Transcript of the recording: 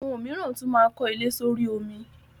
Awọn omiran tun maa n ko ile s'ori omi